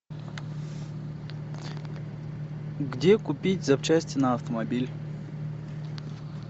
где купить запчасти на автомобиль